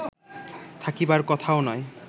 থাকিবার কথাও নয়